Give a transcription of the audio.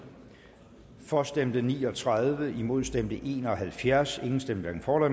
for stemte ni og tredive imod stemte en og halvfjerds hverken for